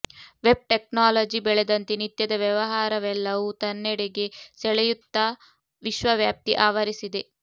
web technology ಬೆಳದಂತೆ ನಿತ್ಯದ ವ್ಯವಹಾರವೆಲ್ಲವೂ ತನ್ನೆಡೆಗೆ ಸೆಳೆಯುತ್ತ ವಿಶ್ವವ್ಯಾಪಿ ಆವರಿಸಿದೆ